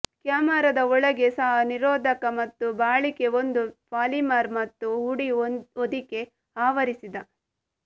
ಕ್ಯಾಮೆರಾದ ಒಳಗೆ ಸಹ ನಿರೋಧಕ ಮತ್ತು ಬಾಳಿಕೆ ಒಂದು ಪಾಲಿಮರ್ ಮತ್ತು ಹುಡಿ ಹೊದಿಕೆ ಆವರಿಸಿದ